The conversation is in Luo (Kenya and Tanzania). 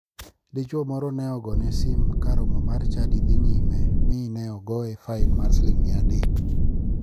Dichuo moro ne ogone sim ka romo mar chadi dhi nyime mi ne ogoye fain mar siling 300.